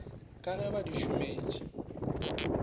ka ge ba di šometše